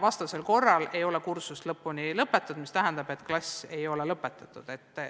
Vastasel juhul ei ole kursus läbitud, mis tähendab, et klass ei ole lõpetatud.